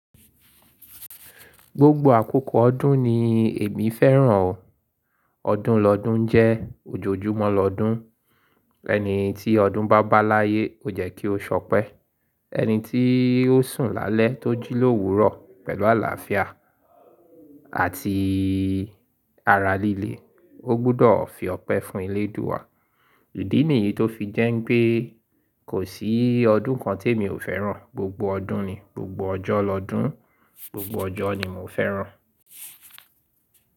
Gbogbo àkókò ọdún ni èmi fẹ́ràn o. Ọdún lọdún jẹ́ ojoojúmọ́ lọdún. Ẹni tí ọdún bá bá láyé, o jẹ́ kí ó sọ pẹ. Ẹni tí ó sùn lálẹ́ tó jí l’òwúrọ̀ pẹ̀lú àlàáfíà àti ara líle, ó gbọdọ̀ fi ọpẹ́ fún elé dúwàá. Ìdí nìyí tó fi jẹ́ pé kò sí ọdún kan te mi ò fẹ́ràn, gbogbo ọdún ni, gbogbo ọjọ́ lọdún, gbogbo ọjọ́ ni mo fẹ́ràn.